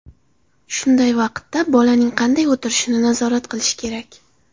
Shunday vaqtda bolaning qanday o‘tirishini nazorat qilish kerak.